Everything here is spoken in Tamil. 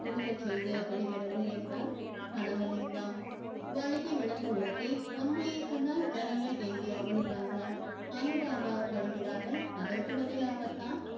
புழுகச் செய்து விடுகிறது என்றான் கனகலிங்கம் வழுக்கி விழுந்த ஒருத்தி உண்மையை சொன்னால் ஜனங்கள் எங்கே அவளுக்காக அனுதாபப்படுகிறார்கள் அதற்கு பதிலாகத்தான்